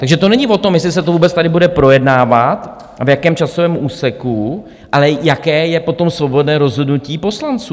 Takže to není o tom, jestli se to vůbec tady bude projednávat a v jakém časovém úseku, ale jaké je potom svobodné rozhodnutí poslanců.